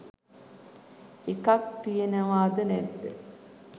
එකක් තියෙනවාද නැද්ද